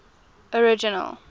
original